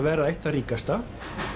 vera eitt það ríkasta